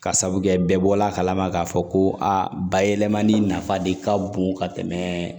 Ka sabu kɛ bɛɛ bɔla a kalama k'a fɔ ko a bayɛlɛmani nafa de ka bon ka tɛmɛ